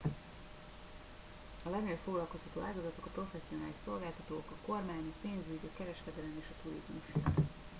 a legnagyobb foglalkoztató ágazatok a professzionális szolgáltatók a kormány a pénzügy a kereskedelem és a turizmus